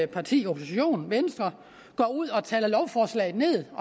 parti i oppositionen venstre går ud og taler lovforslaget